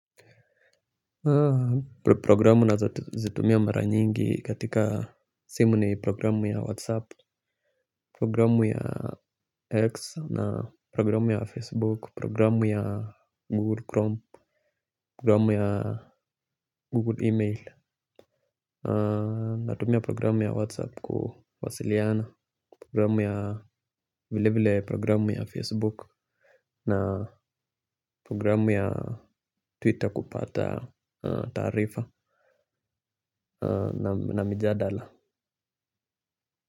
Programu ninazo zitumia mara nyingi katika simu ni programu ya whatsapp. Programu ya x na programu ya facebook programu ya google chrome programu ya google e-mail. Natumia programu ya whatsapp kuwasiliana programu ya vile vile programu ya facebook. Na programu ya twitter kupata taarifa na mijadala.